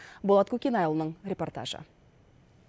болат көкенайұлының репортажы